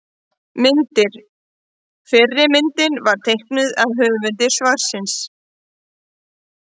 Myndir: Fyrri myndin var teiknuð af höfundi svarsins.